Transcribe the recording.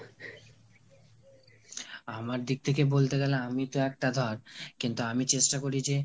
আমার দিক থেকে বলতে গেলে আমিতো একটা ধর কিন্তু আমি চেষ্টা করি যে